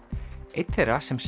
einn þeirra sem